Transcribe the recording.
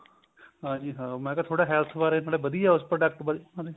ਹਾਂਜੀ ਹਾਂ ਮੈਂ ਕਿਹਾ ਥੋੜਾ health ਬਾਰੇ ਨਾਲੇ ਵਧੀਆ ਉਸ product ਬਾਰੇ